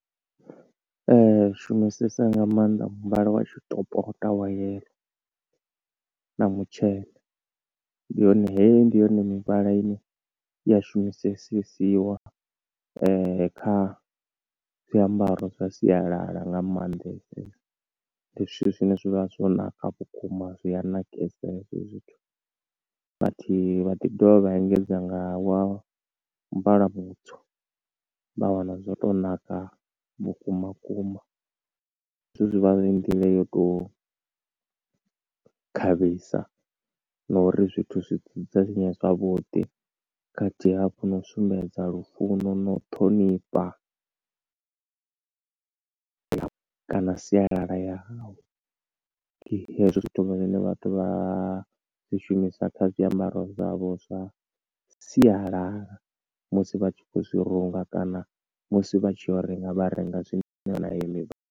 Ee ri shumisesa nga maanḓa muvhala wa tshitopota wa yellow, na mutshena. Ndi yone heyi, ndi yone mivhala ine ya shumisesiwa kha zwiambaro zwa sialala nga maanḓesesa. Ndi zwithu zwine zwa vha zwo ṋaka vhukuma, zwi a ṋakisa hezwo zwithu, but vha ḓi dovha vha engedza nga wa muvhala mutswu, vha wana zwo to naka vhukumakuma. Zwithu zwivha zwi nḓila yo to khavhisa, na uri zwithu zwi dzudzanyee zwavhuḓi, khathihi hafhu na u sumbedza lufuno nau ṱhonifha kana sialala ya hawu. Ndi hezwo zwithu zwine vhathu vha zwi shumisa kha zwiambaro zwavho zwa sialala, musi vha tshi khou zwi runga kana, musi vha tshi yo u renga vha renga zwine .